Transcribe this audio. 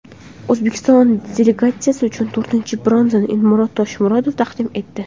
O‘zbekiston delegatsiyasi uchun to‘rtinchi bronzani Elmurod Tasmurodov taqdim etdi.